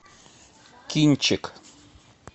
кинчик